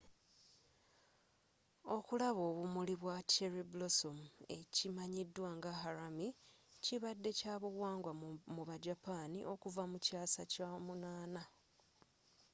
okulaba obumuli bwa cherry blossom ekimanyidwa nga harami kibadde kyabuwanga mu ba japani okuvva mu kyasa ky'omunana